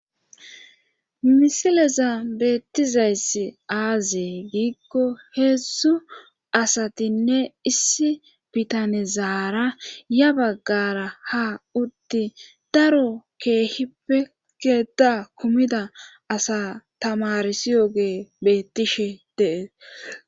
Misileza beettizayssi aazee giikko heessu asatinne issi bitanezaara ya baggara ha utti daro keehi pekeda kumida asa tamarisiyoge bettishe dees.